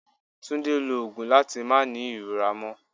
Túndé lo òògùn láti máa ní ìrora mo